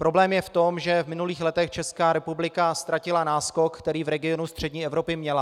Problém je v tom, že v minulých letech Česká republika ztratila náskok, který v regionu střední Evropy měla.